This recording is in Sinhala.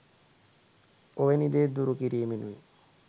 ඔවැනි දේ දුරු කිරීමෙනුයි.